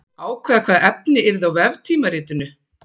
Ákveða hvaða efni yrði á veftímaritinu.